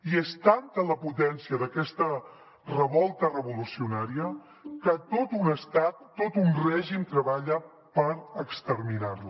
i és tanta la potència d’aquesta revolta revolucionària que tot un estat tot un règim treballa per exterminar la